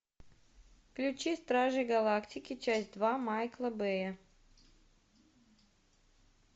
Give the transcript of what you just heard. включи стражи галактики часть два майкла бэя